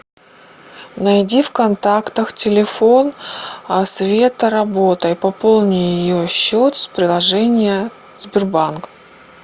найди в контактах телефон света работа и пополни ее счет с приложения сбербанк